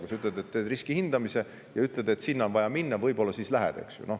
Kui sa ütled, et teed riskihindamise, ja ütled, et sinna on vaja minna, võib-olla siis minnakse, eks ju.